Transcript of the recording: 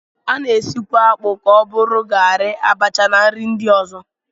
A na-esikwa akpụ ka ọ bụrụ garị, abacha na nri ndị ọzọ